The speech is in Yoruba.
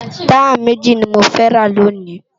Tàyá méji ni mó fè rá lóni